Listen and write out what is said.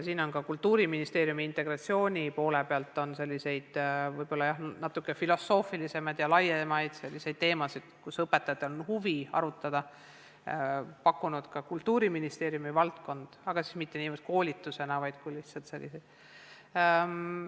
Ka Kultuuriministeerium on integratsiooni poole pealt pakkunud selliseid filosoofilisemaid ja laiemaid teemasid, kus õpetajatel on huvi arutada, need ei ole mitte niivõrd koolitused, vaid lihtsalt sellised arutelud.